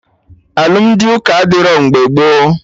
Alụmdi ụka adịrọ mgbe gboo